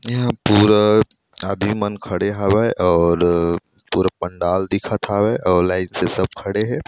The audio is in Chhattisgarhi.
यहाँ पूरा आदिमन खड़े हवय अउर पूरा पंडाल दिखत हवे अउ लाइन से सब खड़े हे।